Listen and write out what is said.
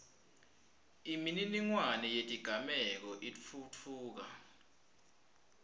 imininingwane yetigameko itfutfuka